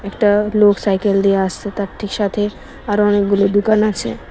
একটা লোক সাইকেল দিয়ে আসছে তার ঠিক সাথে আরো অনেকগুলো দুকান আছে।